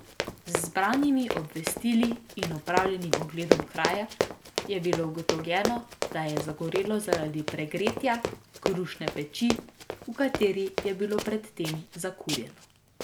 Z zbranimi obvestili in opravljenim ogledom kraja je bilo ugotovljeno, da je zagorelo zaradi pregretja krušne peči, v kateri je bilo pred tem zakurjeno.